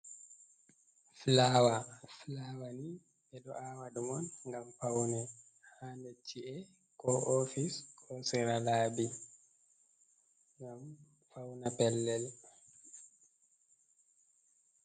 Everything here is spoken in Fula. "Fulaawa" fulaawani ɓeɗo awa ɗum on ngam paune ha chi’e ko ofis ko sera labi ngam fauna pellel.